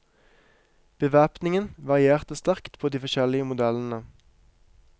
Bevæpningen varierte sterkt på de forskjellige modellene.